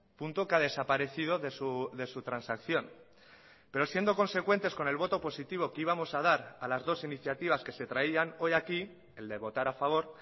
punto que ha desaparecido de su transacción pero siendo consecuentes con el voto positivo que íbamos a dar a las dos iniciativas que se traían hoy aquí el de votar a favor